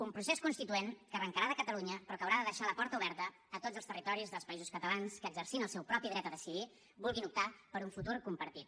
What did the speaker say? un procés constituent que arrancarà de catalunya però que haurà de deixar la porta oberta a tots els territoris dels països catalans que exercint el seu propi dret a decidir vulguin optar per un futur compartit